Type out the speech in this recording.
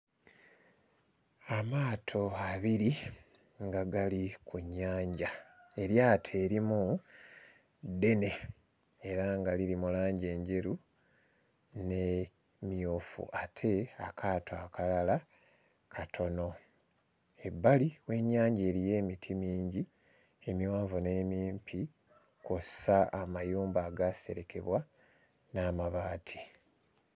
Amaato abiri nga gali ku nnyanja, eryato erimu ddene era nga liri mu langi enjeru n'emmyufu ate akaato akalala katono, ebbali w'ennyanja eriyo emiti mingi emiwanvu n'emimpi kw'ossa amayumba agaaserekebwa n'amabaati.